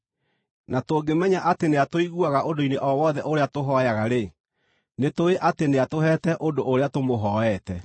Na tũngĩmenya atĩ nĩatũiguaga, ũndũ-inĩ o wothe ũrĩa tũhooyaga-rĩ, nĩtũũĩ atĩ nĩatũheete ũndũ ũrĩa tũmũhooete.